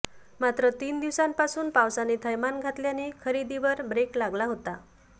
मात्र तीन दिवसापासून पावसाने थैमान घातल्याने खरेदीवर बेक लागला होता